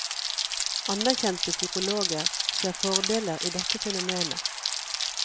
Anerkjente psykologer ser fordeler i dette fenomenet.